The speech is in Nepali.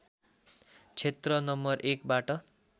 क्षेत्र नं १ बाट